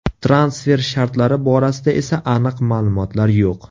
Transfer shartlari borasida esa aniq ma’lumotlar yo‘q.